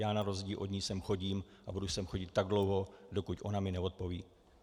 Já na rozdíl od ní sem chodím a budu sem chodit tak dlouho, dokud ona mi neodpoví.